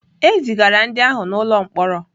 E zigara ndị ahụ n'ụlọ mkpọrọ.